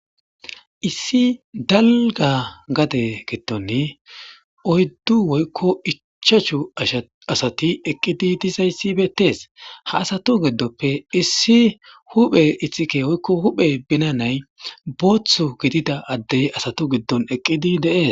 Issi dalga gade gidon oydu woyko ichachu asati eqidi dizays betes ha asatu gidope issi huphe ixike woyko huphe binany botho gidida ade asatu gidon eqidi de'es